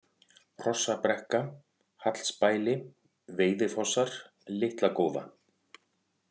Hrossabrekka, Hallsbæli, Veiðifossar, Litla-Góða